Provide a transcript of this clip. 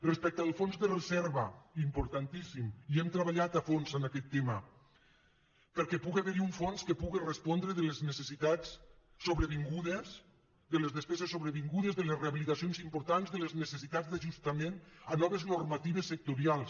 respecte al fons de reserva importantíssim hi hem treballat a fons en aquest tema perquè puga haver hi un fons que puga respondre de les necessitats sobrevingudes de les despeses sobrevingudes de les rehabilitacions importants de les necessitats d’ajustament a noves normatives sectorials